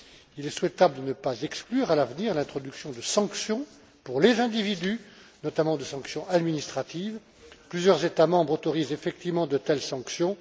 Il est souhaitable de ne pas exclure à l'avenir l'introduction de sanctions pour les individus, notamment de sanctions administratives. Plusieurs États membres autorisent effectivement de telles sanctions.